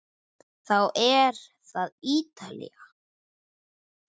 Þá er það Ítalía.